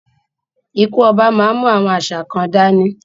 Ikú ọba má ń mú àwọn àṣà kan dání